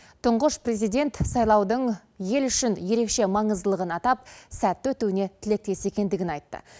тұңғыш президент сайлаудың ел үшін ерекше маңыздылығын атап сәтті өтуіне тілектес екендігін айтты